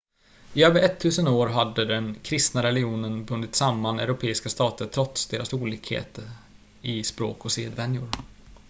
i över ettusen år hade den kristna religionen bundit samman europeiska stater trots deras olikheter i språk och sedvänjor